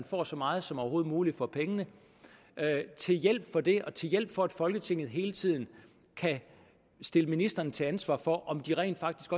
får så meget som overhovedet muligt for pengene til hjælp for det og til hjælp for at folketinget hele tiden kan stille ministrene til ansvar for om de rent faktisk